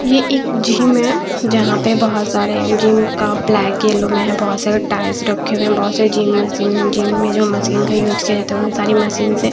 ये एक जिम है जहाँं पे बोहोत सारे जिम का ब्लैक येलो में हैं बहुत सारे टायर्स रखे हुए हैं बहुत सारी जिम जिम जिम में जो मशीन का यूज़ किया जाता है वो सारी मशींस है।